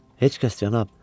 Heç kəs, cənab.